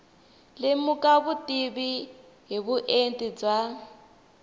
lemuka vutivi hi vuenti bya